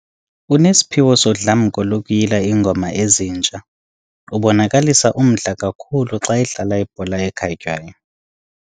Unesiphiwo sodlamko lokuyila iingoma ezintsha. ubonakalisa umdla kakhulu xa edlala ibhola ekhatywayo